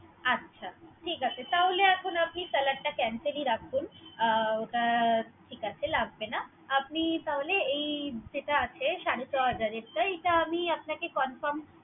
আচ্ছা। ঠিক আছে। তাহলে এখন আপনি সালাদ টা Cancel ই রাখুন। আ ঠিক আছে লাগবে না। আপনি তাহলে যেটা আছে সাড়ে ছয় হাজার এর টা Confirm ।